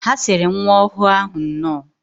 Ha siri nwa ọhụụ ahụ nnọọ.